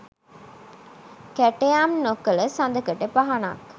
කැටයම් නොකල සදකඩ පහනක්